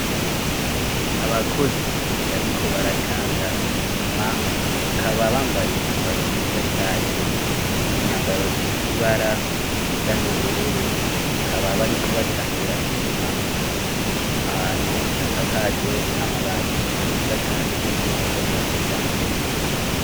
Abakozi bariko baracanga isima kaba bambaye imyambaro myiza cane imyambaro ifise ibara risa n'ubururu kaba bariko bacangira isima ahantu hasakajwe amabati meza cane yo mu bwoko bwa kija mbere.